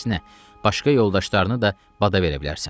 Əksinə, başqa yoldaşlarını da bada verə bilərsən.